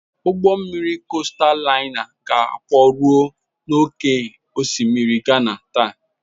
Ụgbọ mmiri kostal laina ga-akwọ rue n'oké osimiri Ghana taa.